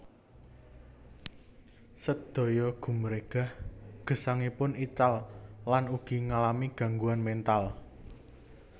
Sedaya gumregah gesangipun ical lan ugi ngalami gangguan mental